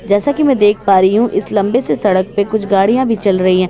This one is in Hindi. जैसा की मैं देख पा रही हूँ इस लम्बे से सड़क पे गाड़ियां भी चल रही हैं।